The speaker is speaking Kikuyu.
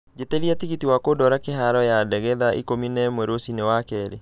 njĩtĩria tigiti wakũndwara kĩharo ya ndege thaa ikũmi na ĩmwe rũcinĩ wakerĩ